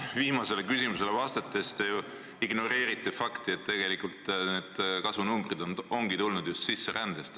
Viimasele küsimusele vastates te ignoreerisite fakti, et tegelikult need kasvunumbrid on tulnud just sisserändest.